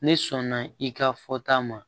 Ne sɔnna i ka fɔta ma